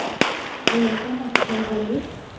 ho ya ka metheo le